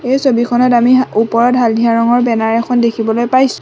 এই ছবিখনত আমি ওপৰত হালধীয়া ৰঙৰ বেনাৰ এখন দেখিবলৈ পাইছোঁ।